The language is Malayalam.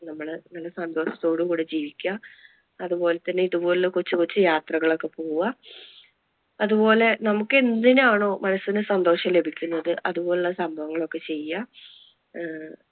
നമ്മള് നല്ല സന്തോഷത്തോടു കൂടെ ജീവിക്കുക. അതുപോലെ തന്നെ ഇതുപോലത്തെ ഒരു കൊച്ചു കൊച്ചു യാത്രകൾ ഒക്കെ പോകുവാ. അതുപോലെ നമുക്ക് എന്തിനാണോ മനസ്സിനു സന്തോഷം ലഭിക്കുന്നത് അതുപോലുള്ള സംഭവങ്ങൾ ഒക്കെ ചെയ്യുക ആഹ്